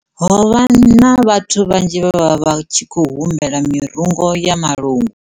Ho vha hu na vhathu vhanzhi vhe vha vha vha tshi khou humbela mirungo ya malungu.